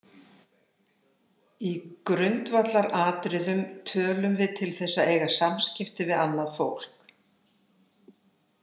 Í grundvallaratriðum tölum við til þess að eiga samskipti við annað fólk.